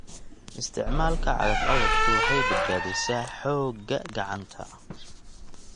Isticmaalka cagaf-cagaftu waxay badbaadisaa xoogga gacanta.